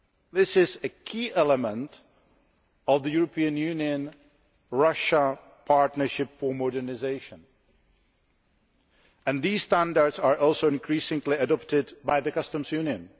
This is a key element of the European Union Russia partnership for modernisation, and these standards are also increasingly being adopted by the Customs Union.